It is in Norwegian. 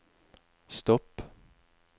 stopp